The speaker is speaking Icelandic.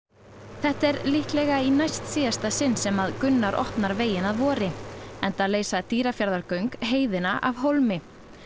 þetta er í líklega í næstsíðasta sinn sem Gunnar opnar veginn að vori enda leysa Dýrafjarðargöng heiðina af hólmi